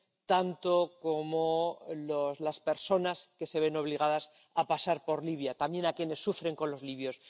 tanto como las personas que se ven obligadas a pasar por Libia, quienes sufren con los libios.